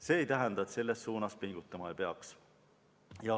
See aga ei tähenda, et selles suunas pingutama ei peaks.